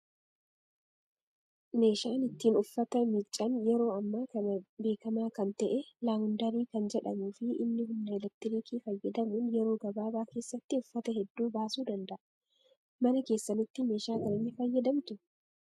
Meeshaan ittiin uffata miiccan yeroo ammaa kana beekamaa kan ta'e Laawundarii kan jedhamuu fi inni humna elektiriikii fayyadamuun yeroo gabaabaa keessatti uffata hedduu baasuu danda'a. Mana keessanitti meeshaa kana ni fayyadamtuu?